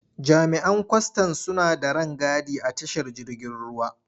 Jami'an kwastan suna da rangadi a tashar jirgin ruwa.